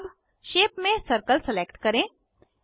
अब शेप में circle select करें